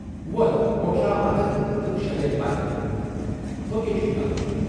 وۅتھ پُھٹراو اَتھٕ تہٕ بہٕ شیرٕے بتہٕ، ہُوکے چھُے نلکہٕ